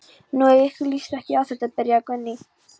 Nú, ef ykkur líst ekki á þetta. byrjaði Guðni.